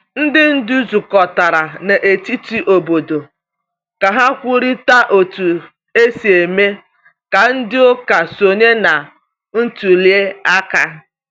Ndị ndu zukọtara na etiti obodo ka ha kwurịta otu esi mee ka ndị ụka sonye na ntuli aka.